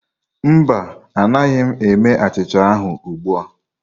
Mba, anaghị m eme achịcha ahụ ugbu a.